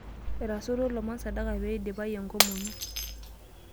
Etasotuo oloomon sadaka peidipayu enkomono.